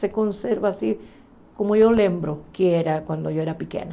Se conserva assim, como eu lembro que era quando eu era pequena.